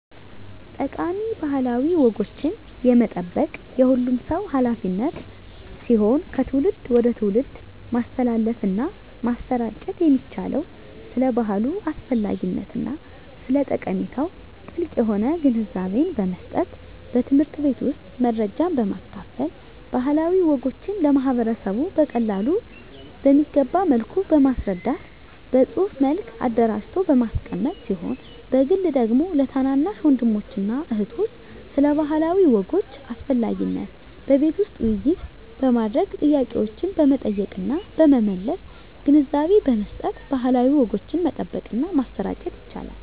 ጠቃሚ ባህላዊ ወጎችን የመጠበቅ የሁሉም ሰው ሀላፊነት ሲሆን ከትውልድ ወደ ትውልድ ማስተላለፍና ማሰራጨት የሚቻለው ስለ ባህሉ አስፈላጊነትና ስለ ጠቀሜታው ጥልቅ የሆነ ግንዛቤን በመስጠት በትምህርት ቤት ውስጥ መረጃን በማካፈል ባህላዊ ወጎችን ለማህበረሰቡ በቀላሉ በሚገባ መልኩ በማስረዳት በፅሁፍ መልክ አደራጅቶ በማስቀመጥ ሲሆን በግል ደግሞ ለታናናሽ ወንድሞችና እህቶች ስለ ባህላዊ ወጎች አስፈላጊነት በቤት ውስጥ ውይይት በማድረግ ጥያቄዎችን በመጠየቅና በመመለስ ግንዛቤ በመስጠት ባህላዊ ወጎችን መጠበቅና ማሰራጨት ይቻላል።